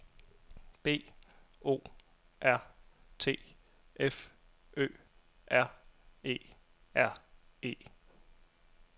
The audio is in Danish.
B O R T F Ø R E R E